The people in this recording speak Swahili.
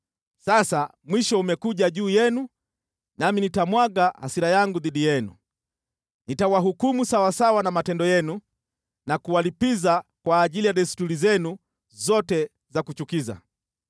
Sasa mwisho umekuja juu yenu nami nitamwaga hasira yangu dhidi yenu. Nitawahukumu sawasawa na matendo yenu na kuwalipiza kwa ajili ya desturi zenu zote za kuchukiza.